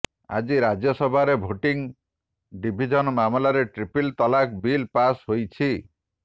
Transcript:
ଆଜି ରାଜ୍ୟସଭାରେ voting division ମାଧ୍ୟମରେ ଟ୍ରିପଲ୍ ତଲାକ୍ ବିଲ୍ ପାସ୍ ହୋଇଛି